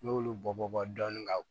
N'i y'olu bɔ bɔ dɔɔni ka